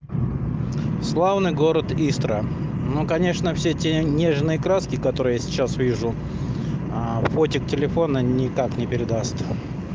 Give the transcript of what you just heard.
славный город истра ну конечно все эти нежные краски которые я сейчас вижу фотоаппарат телефона никак не передаст